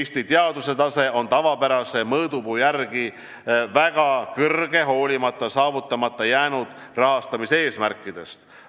Eesti teaduse tase on tavapärase mõõdupuu järgi väga kõrge, hoolimata saavutamata jäänud rahastamiseesmärkidest.